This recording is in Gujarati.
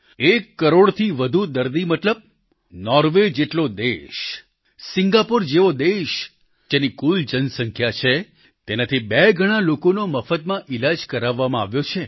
એક કરોડથી વધુ દર્દી મતલબ નોર્વે જેટલો દેશ સિંગાપોર જેવો દેશ તેની કુલ જનસંખ્યા છે તેનાથી બે ગણા લોકોનો મફતમાં ઈલાજ કરાવવામાં આવ્યો છે